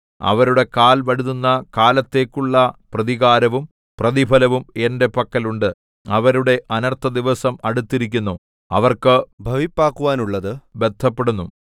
അവരുടെ കാൽ വഴുതുന്ന കാലത്തേക്കുള്ള പ്രതികാരവും പ്രതിഫലവും എന്റെ പക്കൽ ഉണ്ട് അവരുടെ അനർത്ഥദിവസം അടുത്തിരിക്കുന്നു അവർക്ക് ഭവിപ്പാക്കുവാനുള്ളത് ബദ്ധപ്പെടുന്നു